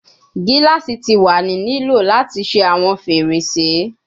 Gilasi ti wa ni lo lati ṣe awọn ferese